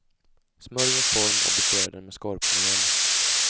Smörj en form och beströ den med skorpmjöl.